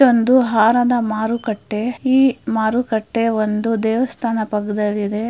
ಇದು ಒಂದು ಹಾರದ ಮಾರುಕಟ್ಟೆ ಈ ಮಾರುಕಟ್ಟೆ ಒಂದು ದೇವಸ್ಥಾನ ಪಕ್ಕದಲ್ಲಿ ಇದೆ.